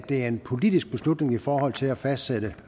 det er en politisk beslutning i forhold til at fastsætte